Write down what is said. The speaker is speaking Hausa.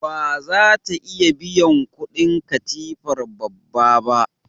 Ba za ta iya biyan kudin katifar babba ba.